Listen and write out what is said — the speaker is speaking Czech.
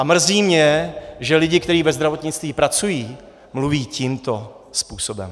A mrzí mě, že lidé, kteří ve zdravotnictví pracují, mluví tímto způsobem.